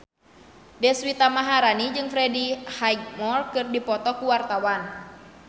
Deswita Maharani jeung Freddie Highmore keur dipoto ku wartawan